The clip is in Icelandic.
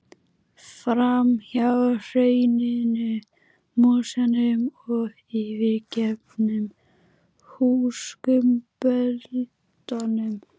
Fram hjá hrauninu, mosanum og yfirgefnum húskumböldunum.